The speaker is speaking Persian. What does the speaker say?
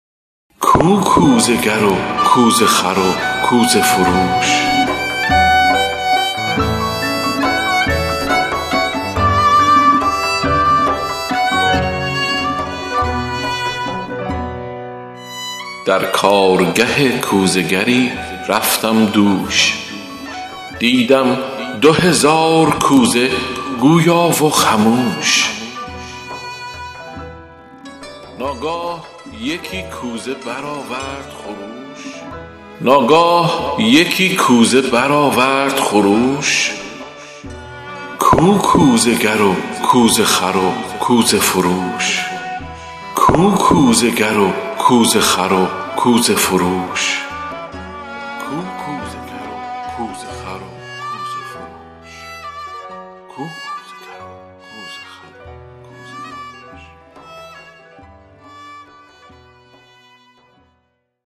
در کارگه کوزه گری رفتم دوش دیدم دو هزار کوزه گویا و خموش ناگاه یکی کوزه برآورد خروش کو کوزه گر و کوزه خر و کوزه فروش